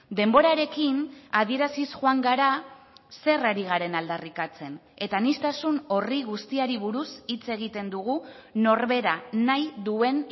denborarekin adieraziz joan gara zer ari garen aldarrikatzen eta aniztasun horri guztiari buruz hitz egiten dugu norbera nahi duen